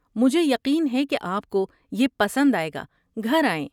مجھے یقین ہے کہ آپ کو یہ پسند آئے گا۔ گھر آئیں!